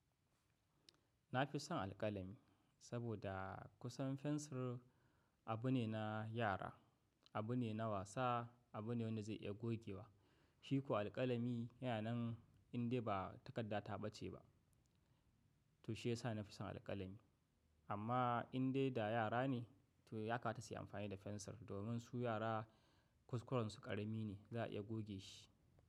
Na fi son alƙalami saboda kusan fensir abu ne na yara, abu ne na wasa, abu ne wanda zai iya gogewa. Shi ko alƙalami, yana nan indai ba takarda ta ɓace ba. To shiyasa na fi son alƙalami. Amma indai da yara ne to ya kamata suyi amfani da fensir. Domin su yara kuskurensu ƙarami ne za a iya goge shi.